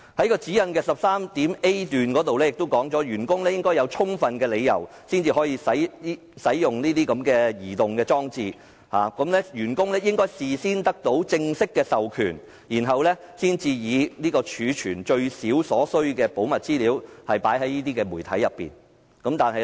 該指引第 10.3a 條亦訂明，員工應具有充分理由，才可使用這些流動裝置，並應事先得到正式授權，以儲存最少所需的保密資料到這些媒體為原則。